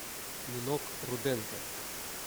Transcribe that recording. нинок руденко